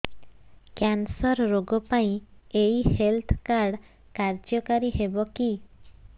cancer ରୋଗ ପାଇଁ ଏଇ ହେଲ୍ଥ କାର୍ଡ କାର୍ଯ୍ୟକାରି ହେବ କି